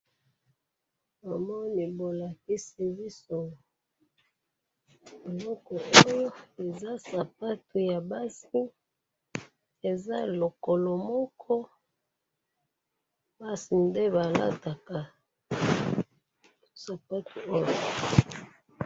namoni bolakisi biso eloko oyo eza sapatu ya basi eza lokolo moko basi nde balataka sapatu oyo